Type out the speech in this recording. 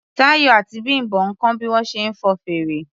Táyọ̀ àti Bím̀bọ́ ń kọ́ bí wọ́n ṣe ń fọn fèrè.